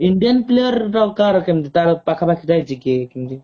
indian player କାହାର କେମିତି ତାର ପାଖା ପାଖି ଯାଇଛି କି କିଏ କେମିତି